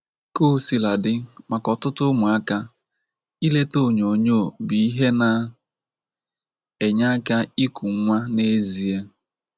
Kaosiladị maka ọtụtụ ụmụaka, ileta onyonyo bụ ihe na - enye aka iku nwa n’ezie.